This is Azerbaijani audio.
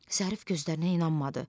Zərif gözlərinə inanmadı.